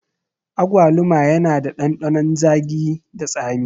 Agwaluma yana da ɗanɗanon zagi da tsami